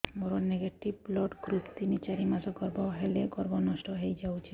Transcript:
ମୋର negative blood group ତିନ ଚାରି ମାସ ଗର୍ଭ ହେଲେ ଗର୍ଭ ନଷ୍ଟ ହେଇଯାଉଛି